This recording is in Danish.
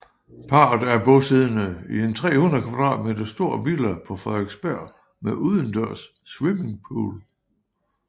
Parret er bosiddende i en 300 kvadratmeter stor villa på Frederiksberg med udendørs swimmingpool